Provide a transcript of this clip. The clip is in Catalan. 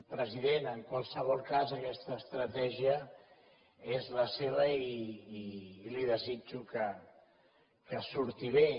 president en qualsevol cas aquesta estratègia és la seva i li desitjo que surti bé